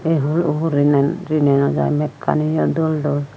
ei hul uhurey rini naw jaai mekkaniyo dol dol.